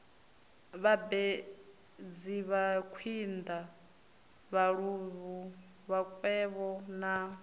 vhambedzi makwinda vhaluvhu vhakwevho na